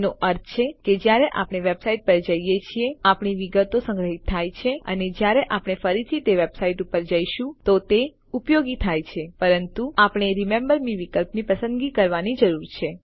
એનો અર્થ છે કે જ્યારે આપણે વેબસાઇટ પર જઈએ છીએ આપણી વિગતો સંગ્રહિત થાય છે અને જ્યારે આપણે ફરી તે વેબસાઈટ ઉપર જઈશું તો તે ઉપયોગી થાય છે પરંતુ આપણે રિમેમ્બર મે વિકલ્પની પસંદગી કરવાની જરૂર છે